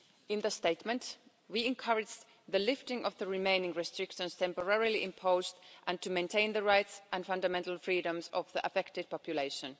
In the Statement, we encourage the lifting of the remaining restrictions temporarily imposed and to maintain the rights and fundamental freedoms of the affected population.